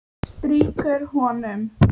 Strýkur honum.